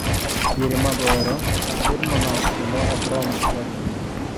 Diere mag oro, chak bet manok kendo ok rom dwach ji.